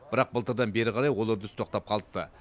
бірақ былтырдан бері қарай ол үрдіс тоқтап қалыпты